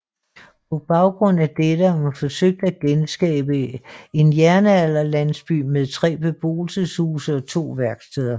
På baggrund af dette har man forsøgt at genskabe en jernalderlandsby med tre beboelseshuse og to værksteder